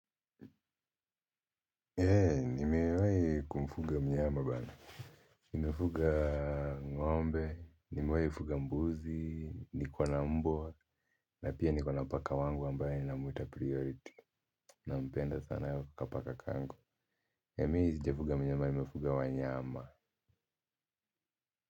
Nimewai kumfuga mnyama bana nimefuga ng'ombe nimewai fuga mbuzi niko na mbwa na pia niko na paka wangu ambaye ninamwita priority nampenda sana kapaka kangu na mi sijafuga mnyama nimefuga wanyama.